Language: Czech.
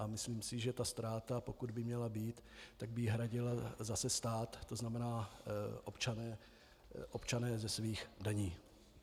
A myslím si, že ta ztráta, pokud by měla být, tak by ji hradil zase stát, to znamená občané ze svých daní.